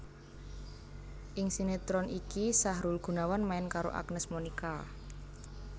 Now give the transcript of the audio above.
Ing sinetron iki Sahrul Gunawan main karo Agnes Monica